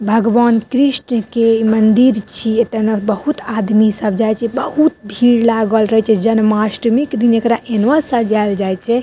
भगवान कृष्ण के मंदिर छी एता ने बहुत आदमी सब जाये छै बहुत भीड़ लागल रहे छै जन्माष्टमी के दिन एकरा एना सजाल जाय छै।